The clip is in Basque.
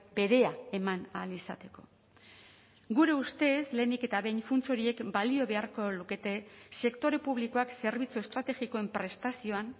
berea eman ahal izateko gure ustez lehenik eta behin funts horiek balio beharko lukete sektore publikoak zerbitzu estrategikoen prestazioan